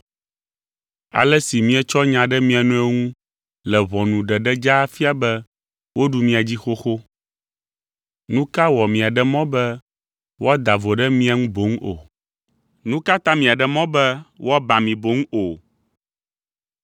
Ale si mietsɔ nya ɖe mia nɔewo ŋu le ʋɔnu ɖeɖe dzaa fia be woɖu mia dzi xoxo. Nu ka wɔ miaɖe mɔ be woada vo ɖe mia ŋu boŋ o? Nu ka ta miaɖe mɔ be woaba mi boŋ o?